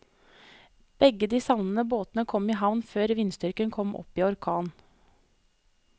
Begge de savnede båtene kom i havn før vindstyrken kom opp i orkan.